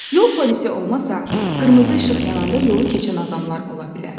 Yol polisi olmasa, qırmızı işıq yananda yolu keçən adamlar ola bilər.